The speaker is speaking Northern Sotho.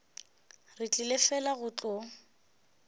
re tlile fela go tlo